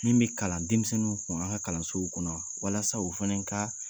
Min be kalan denmisɛnninw kun an ka kalansow kɔnɔ walasa u fɛnɛ kaa